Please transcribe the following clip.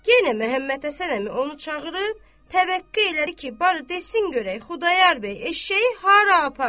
Yenə Məmmədhəsən əmi onu çağırıb təvəqqə elədi ki, barı desin görək Xudayar bəy eşşəyi hara aparıb?